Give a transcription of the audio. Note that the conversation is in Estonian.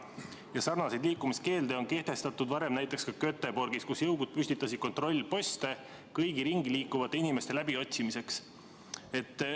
Varem on selliseid liikumiskeelde kehtestatud ka Göteborgis, kus jõugud püstitasid kontrollposte kõigi ringi liikuvate inimeste läbiotsimiseks.